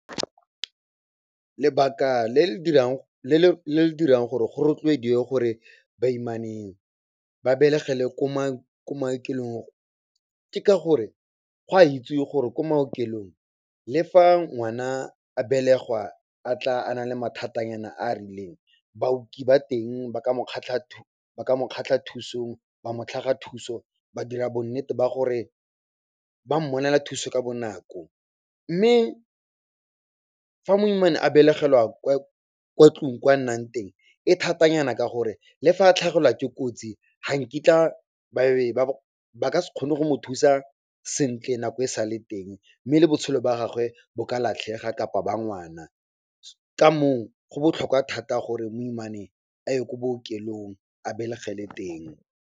Lebaka le le dirang gore go rotloediwe gore baimaneng ba belegele ko maokelong, ke ka gore go a itsiwe gore ko maokelong, le fa ngwana a belegwa a tla a nale mathatanyana a a rileng, baoki ba teng ba ka mo tlhaga thuso, ba dira bonnete ba gore ba mmonela thuso ka bonako. Mme fa moimana a belegela kwa tlong kwa nnang teng, e thatanyana ka gore le fa a tlhagelwa ke kotsi ga nkitla ba ka se kgone go mo thusa sentle, nako e sa le teng mme le botshelo ba gagwe bo ka latlhega kapa ba ngwana. Ka moo go botlhokwa thata gore moimane a ye ko bookelong, a belegele teng.